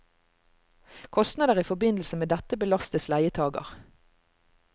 Kostnader i forbindelse med dette belastes leietager.